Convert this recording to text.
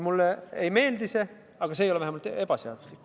Mulle see ei meeldi, aga see ei ole vähemalt ebaseaduslik.